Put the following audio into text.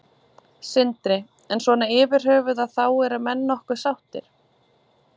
Sindri: En svona yfirhöfuð að þá eru menn nokkuð sáttir?